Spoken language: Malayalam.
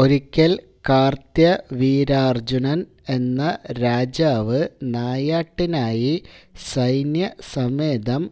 ഒരിക്കല് കാര്ത്ത്യവീരാര്ജുനന് എന്ന രാജാവ് നായാട്ടിനായി സൈന്യ സമേതം